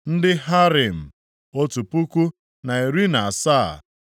ndị Harim, otu puku, na iri na asaa (1,017).